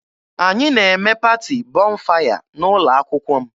Anyị na-eme paati Bọnfaya n'ụlọ akwụkwọ m.